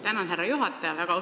Tänan, härra juhataja!